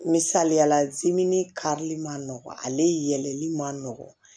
Misaliya la karili man nɔgɔn ale yɛlɛli ma nɔgɔn